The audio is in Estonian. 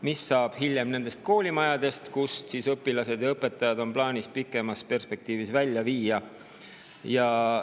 Mis saab nendest koolimajadest, kust õpilased ja õpetajad on plaanis pikemas perspektiivis välja viia?